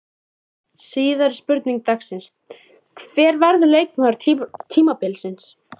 Síðari spurning dagsins: Hver verður leikmaður tímabilsins?